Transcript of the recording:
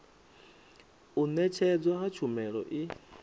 u ṅetshedzwa ha tshumelo i